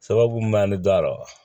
Sababu mun b'an ni da rɔ